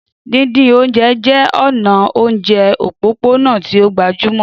Díndín oúnjẹ jẹ́ ọ̀nà oúnjẹ òpópónà tí ó gbajúmọ̀.